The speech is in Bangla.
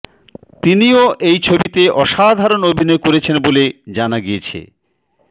তিনিও এই ছবিতে অসাধারণ অভিনয় করেছেন বলে জানা গিয়েছে